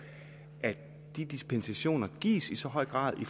at de dispensationer gives i så høj grad i